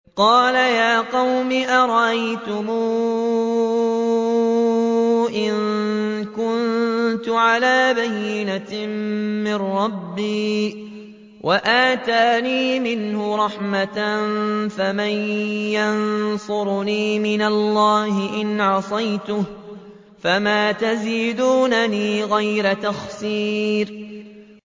قَالَ يَا قَوْمِ أَرَأَيْتُمْ إِن كُنتُ عَلَىٰ بَيِّنَةٍ مِّن رَّبِّي وَآتَانِي مِنْهُ رَحْمَةً فَمَن يَنصُرُنِي مِنَ اللَّهِ إِنْ عَصَيْتُهُ ۖ فَمَا تَزِيدُونَنِي غَيْرَ تَخْسِيرٍ